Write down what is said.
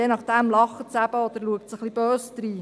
Je nach dem lacht es eben oder schaut böse.